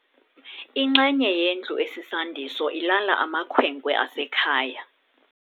Inxenye yendlu esisandiso ilala amakhwenkwe asekhaya.